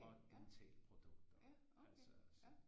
Og dentalprodukter altså så